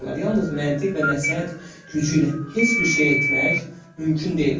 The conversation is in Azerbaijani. Yalnız məntiq və nəsihət gücü ilə heç bir şey etmək mümkün deyildir.